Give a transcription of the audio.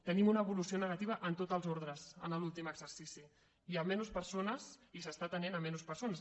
tenim una evolució negativa en tots els ordres en l’últim exercici hi ha menys persones i s’està atenent menys persones